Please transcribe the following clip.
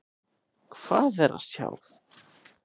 Hvað á að sjá?